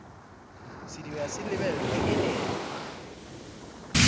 sediba se lebelwe e ne